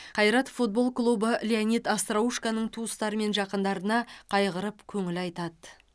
қайрат футбол клубы леонид остроушконың туыстары мен жақындарына қайғырып көңіл айтады